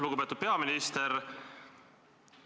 Lugupeetud peaminister!